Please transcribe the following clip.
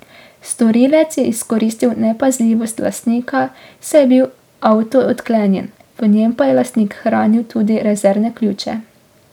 Storilec je izkoristil nepazljivost lastnika, saj je bil avto odklenjen, v njem pa je lastnik hranil tudi rezervne ključe.